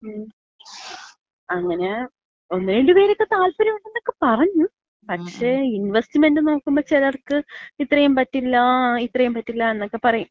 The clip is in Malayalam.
അങ്ങന ഒന്ന് രണ്ട് പേരക്കെ താല്പര്യമാണെന്നക്ക പറഞ്ഞു. പക്ഷേ ഇൻവെസ്റ്റ്മെന്‍റ് നോക്കുമ്പോ ചെലർക്ക് ഇത്രയും പറ്റില്ല ഇത്രയും പറ്റില്ല എന്നൊക്ക പറയും.